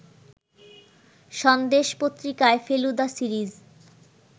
সন্দেশ পত্রিকায় ফেলুদা সিরিজ